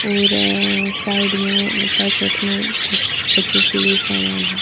और साइड में पैकेट में कुछ बच्चों के लिए सामान है।